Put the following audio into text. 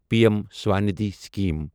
P M Svanidhi scheme